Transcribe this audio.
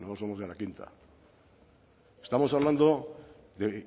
nosotros somos de la quinta estamos hablando de